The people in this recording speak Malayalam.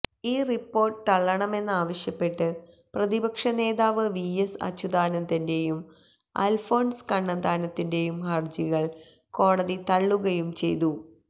ഈ റിപ്പോര്ട്ട് തള്ളണമെന്നാവശ്യപ്പെട്ട് പ്രതിപക്ഷ നേതാവ് വി എസ് അച്യുതാനന്ദന്റെയും അല്ഫോന്സ് കണ്ണന്താനത്തിന്റെയും ഹര്ജികള് കോടതി തള്ളുകയും ചെയ്തു